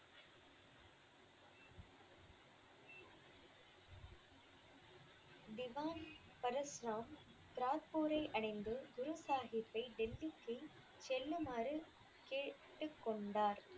திவான் பரசுராம் ராக்பூரை அடைந்து, குருசாகிப்பை டெல்லிக்கு செல்லுமாறு கேட்டுக்கொண்டார்.